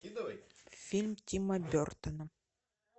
фильм тима бертона